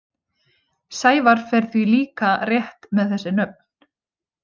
Sævar fer því líka rétt með þessi nöfn.